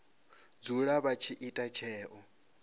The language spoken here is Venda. dzula vha tshi ita tsheo